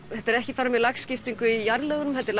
þetta er ekki bara lagskipting í jarðlög heldur